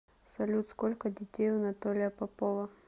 салют сколько детей у анатолия попова